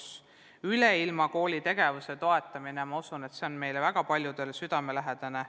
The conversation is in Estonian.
Toetame Üleilmakooli tegevust – ma usun, et see on meile väga paljudele südamelähedane.